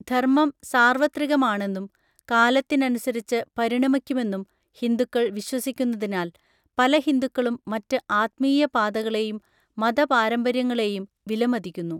ധർമ്മം സാർവത്രികമാണെന്നും കാലത്തിനനുസരിച്ച് പരിണമിക്കുമെന്നും ഹിന്ദുക്കൾ വിശ്വസിക്കുന്നതിനാൽ പല ഹിന്ദുക്കളും മറ്റ് ആത്മീയ പാതകളെയും മതപാരമ്പര്യങ്ങളെയും വിലമതിക്കുന്നു.